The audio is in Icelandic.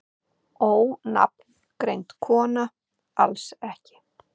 Ónafngreind kona: Alls ekki?